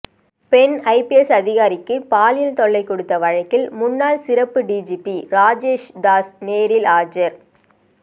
பெண் ஐபிஎஸ் அதிகாரிக்கு பாலியல் தொல்லை கொடுத்த வழக்கில் முன்னாள் சிறப்பு டிஜிபி ராஜேஷ்தாஸ் நேரில் ஆஜர்